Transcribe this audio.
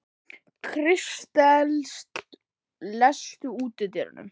Kristens, læstu útidyrunum.